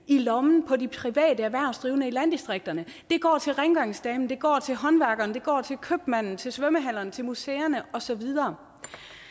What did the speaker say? i lommen på de private erhvervsdrivende i landdistrikterne de går til rengøringsdamen de går til håndværkeren de går til købmanden til svømmehallerne til museerne og så videre